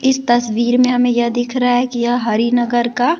इस तस्वीर में हमें यह दिख रहा है कि यह हरि नगर का--